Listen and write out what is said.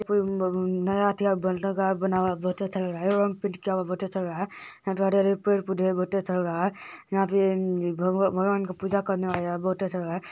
हरे-भरे पेड़-पौधे हैं यहाँ पर भगवान के पूजा करने वाले हैं बहुट अच्छा लग रहा है